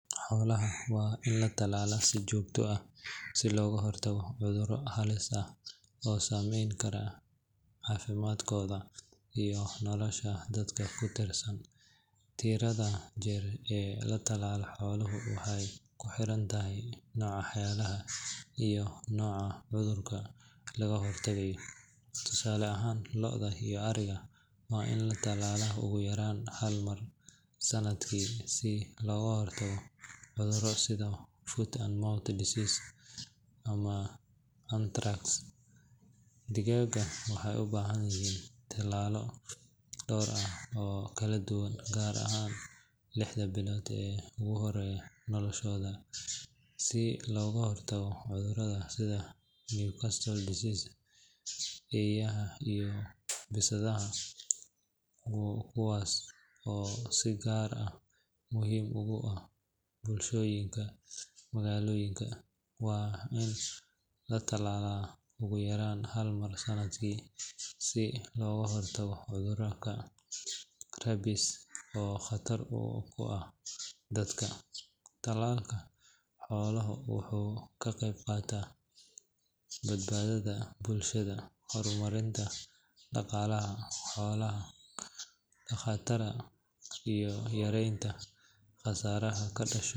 Xoolaha waa in la tallaalaa si joogto ah si looga hortago cudurro halis ah oo saameyn kara caafimaadkooda iyo nolosha dadka ku tiirsan. Tirada jeer ee la tallaalo xooluhu waxay ku xiran tahay nooca xoolaha iyo nooca cudurka laga hortagayo. Tusaale ahaan, lo’da iyo ariga waa in la tallaalaa ugu yaraan hal mar sanadkii si looga hortago cudurro sida foot and mouth disease ama anthrax. Digaagga waxay u baahan yihiin tallaalo dhowr ah oo kala duwan, gaar ahaan lixda bilood ee ugu horreeya noloshooda, si looga hortago cudurro sida Newcastle disease. Eeyaha iyo bisadaha, kuwaas oo si gaar ah muhiim ugu ah bulshooyinka magaalooyinka, waa in la tallaalaa ugu yaraan hal mar sanadkii si looga hortago cudurka rabies oo khatar ku ah dadka. Tallaalka xooluhu wuxuu ka qayb qaataa badbaadada bulshada, horumarinta dhaqaalaha xoola dhaqatada, iyo yareynta khasaaraha ka dhasha.